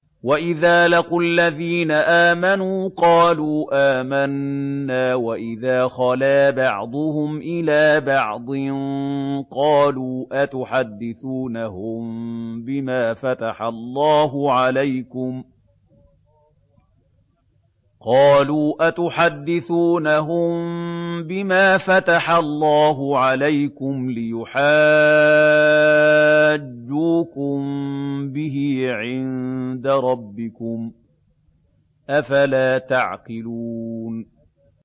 وَإِذَا لَقُوا الَّذِينَ آمَنُوا قَالُوا آمَنَّا وَإِذَا خَلَا بَعْضُهُمْ إِلَىٰ بَعْضٍ قَالُوا أَتُحَدِّثُونَهُم بِمَا فَتَحَ اللَّهُ عَلَيْكُمْ لِيُحَاجُّوكُم بِهِ عِندَ رَبِّكُمْ ۚ أَفَلَا تَعْقِلُونَ